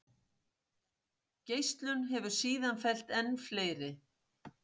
Geislun hefur síðan fellt enn fleiri.